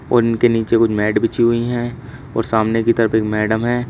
उनके नीचे कुछ मैट बिछी हुई है और सामने की तरफ एक मैडम है।